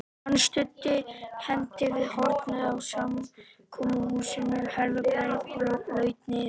Hann studdi hendi við hornið á samkomuhúsinu Herðubreið og laut niður.